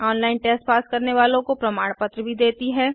online test pass करने वालो को प्रमाण पत्र भी देती हैं